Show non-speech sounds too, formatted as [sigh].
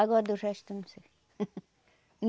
Agora do resto, eu não sei. [laughs]